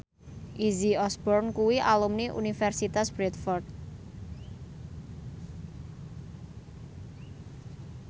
Izzy Osborne kuwi alumni Universitas Bradford